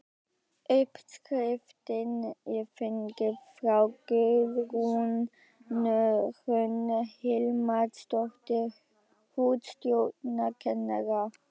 Uppskriftin er fengin frá Guðrúnu Hrönn Hilmarsdóttur hússtjórnarkennara.